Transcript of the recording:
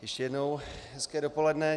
Ještě jednou hezké dopoledne.